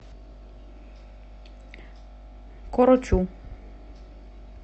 корочу